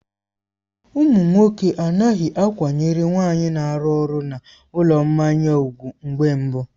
Ụmụ nwoke anaghị akwanyere nwaanyị na-arụ ọrụ na ụlọ mmanya ùgwù mgbe mbụ.